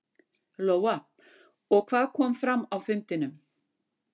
Lóa: Og hvað kom fram á fundinum?